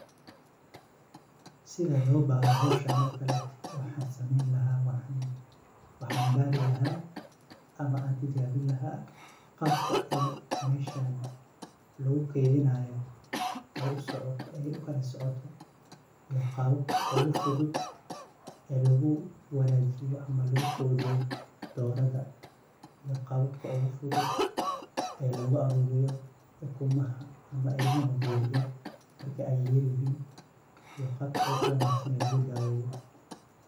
Sida loo baaro hoshan ookaleto, waxaan sameyn lahaa. Waxaan baari lahaa ama an tijaabin lahaa, qaabka ay meshaan lagu keydinayo ay usocoto, ay ukalasocoto, iyo qababka ugu fudud loogu wanaajiyo ama loogu quudiyo doorada. Iyo qababka ugu fudud loogu aruuriyo ukumaha ama ilmahooda yeryer marka ay yeryerihiin, iyo qaabka ugu wanaagsan loogu daweeyo.